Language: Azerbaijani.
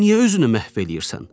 Daha niyə özünü məhv eləyirsən?